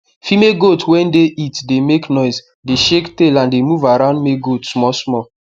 female goat wey dey heat dey make noise dey shake tail and dey move around male goat small small